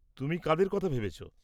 তুমি কাদের কথা ভেবেছ?